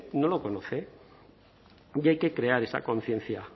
no lo conoce y hay que crear esa conciencia